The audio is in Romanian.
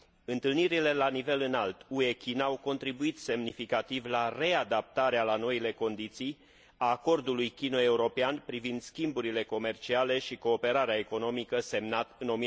Întâlnirile la nivel înalt UE China au contribuit semnificativ la readaptarea la noile condiții a Acordului chino european privind schimburile comerciale și cooperarea economică, semnat în